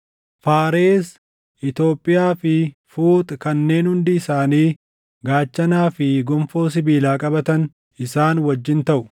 Faaresi, Itoophiyaa fi Fuuxi kanneen hundi isaanii gaachanaa fi gonfoo sibiilaa qabatan isaan wajjin taʼu;